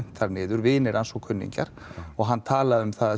þar niður vinir hans og kunningjar og hann talaði um það